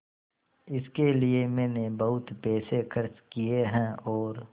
इसके लिए मैंने बहुत पैसे खर्च किए हैं और